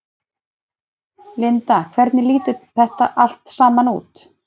Linda hvernig lítur þetta allt saman út?